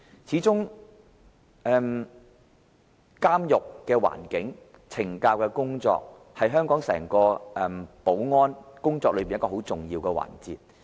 始終，監獄的環境和懲教工作，是香港整個保安工作中很重要的環節。